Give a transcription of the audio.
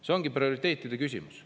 See ongi prioriteetide küsimus.